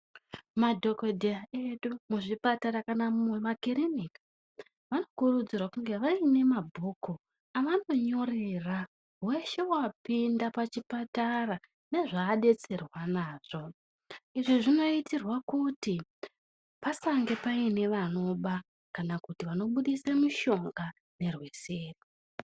Madhogodheya edu muzvipatara kana mumakirinika vanokurudzirwa kunge vaine mabhuku avanonyorera weshe wapinda pachipatara nezvaadetserwa nazvo. Izvi zvinoitirwa kuti pasange paine vanoba kana kuti vanobudise mushonga nerweseri.